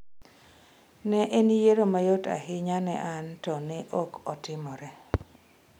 Ne en yiero mayot ahinya ne an to ne ok otimre.